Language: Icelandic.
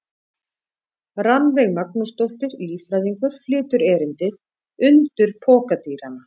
Rannveig Magnúsdóttir, líffræðingur, flytur erindið: Undur pokadýranna.